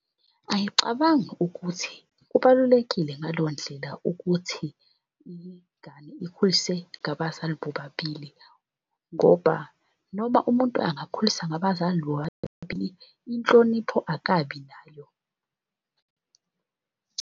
Angicabangi ukuthi kubalulekile ngaleyo ndlela ukuthi ingane ikhuliswe ngabazali bobabili ngoba noma umuntu angakhuliswa ngabazali bobabili inhlonipho akabi nayo .